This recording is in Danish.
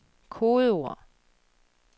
kodeord